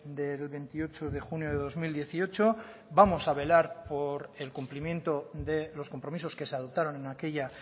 del veintiocho de junio de dos mil dieciocho vamos a velar por el cumplimiento de los compromisos que se adoptaron en aquella